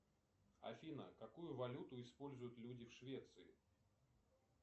афина какую валюту используют люди в швеции